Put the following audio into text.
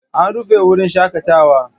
An rufe wurin shakatawa.